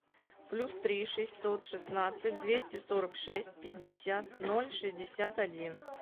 плюс три шестьсот шестнадцать двести сорок шесть пятьдесят ноль шестьдесят один